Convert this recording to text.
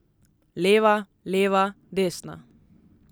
Leva, leva, desna.